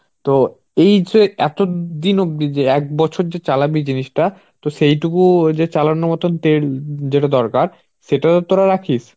তো এই যে এতদিন অব্দি যে এক বছর যে চালাবি জিনিসটা তো সেইটুকুও যে চালানোর মতন তেল যেটা দরকার সেটাও তো তোরা রাখিস?